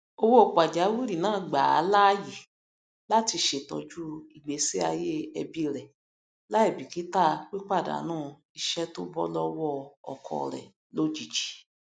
owó pàjáwìrì náà gbàá láàyè láti ṣètọju ìgbésí ayé ẹbí rẹ láìbíkítà pípàdánù iṣẹ tóbọ lọwọ ọkọ rẹ lójijì